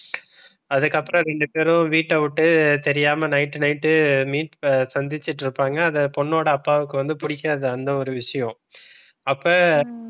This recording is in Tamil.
அதுக்கப்புறம் ரெண்டு பேரும் வீட்டை விட்டு தெரியாம night night meet சந்திச்சிட்டு இருப்பாங்க. அதை பொண்ணோட அப்பாவுக்கு வந்து பிடிக்காது அந்த ஒரு விஷயம் அப்ப